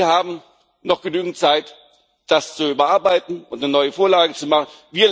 Sie haben noch genügend Zeit, das zu überarbeiten und eine neue Vorlage zu machen.